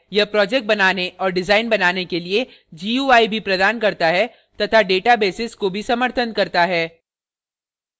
यह projects बनाने और डिजाइन बनाने के लिए gui भी प्रदान करता है तथा databases को भी समर्थन करता है